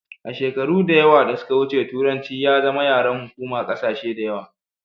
a shekaru da yawa da suka wuce turanci ya zama yaren hukuma kasashe da yawa